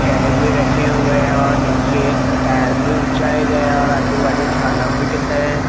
थैले भी रखे हुए हैं और नीचे टाइल्स भी बिछाया गया है और आजू बाजू झाला भी ।